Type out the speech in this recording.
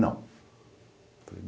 Não.